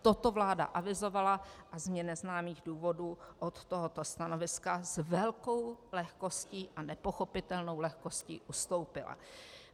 Toto vláda avizovala a z mně neznámých důvodů od tohoto stanoviska s velkou lehkostí a nepochopitelnou lehkostí ustoupila.